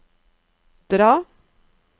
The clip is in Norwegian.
dra